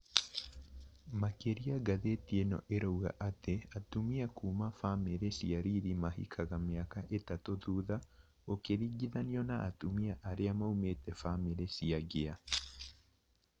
Makĩria ngathĩti ĩno ĩrauga atĩ atumia kuma bamĩri cia riri mahikaga mĩaka itatũ thutha gũkĩringithanio na atumia arĩa maumĩte bamĩri cia ngĩa